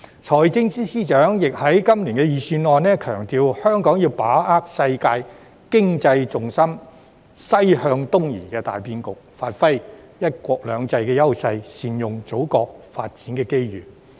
財政司司長在今年的財政預算案亦強調，香港要把握世界經濟重心"西向東移"的大變局，發揮"一國兩制"優勢，善用祖國的發展機遇。